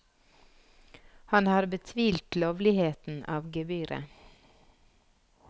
Han har betvilt lovligheten av gebyret.